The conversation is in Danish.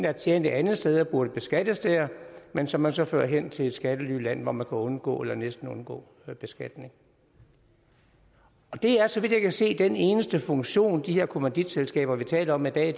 er tjent et andet sted og burde beskattes der men som man så fører hen til et skattelyland hvor man kan undgå eller næsten undgå beskatning og det er så vidt jeg kan se den eneste funktion de her kommanditselskaber vi taler om i dag